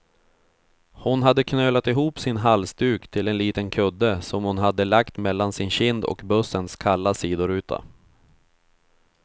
Hon hade knölat ihop sin halsduk till en liten kudde, som hon hade lagt mellan sin kind och bussens kalla sidoruta.